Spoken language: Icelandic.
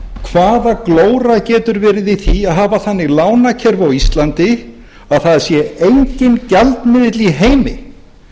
hvaða glóra getur verið í því að hafa þannig lánakjör á íslandi að það sé enginn gjaldmiðill í heimi